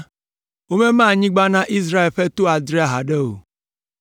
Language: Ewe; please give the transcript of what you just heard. Womema anyigba na Israel ƒe to adre haɖe o.